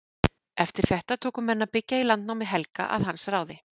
Eftir þetta tóku menn að byggja í landnámi Helga að hans ráði.